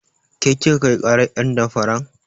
Ke kika kai ƙarar ƴen damfaran?